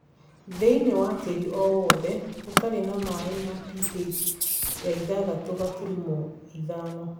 Thĩinĩ wa tĩĩri o wothe ũtarĩ na maĩ na pH yaithathatũ gaturumo ithano